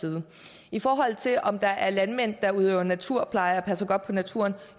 side i forhold til om der er landmænd der udøver naturpleje og passer godt på naturen